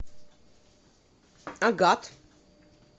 агат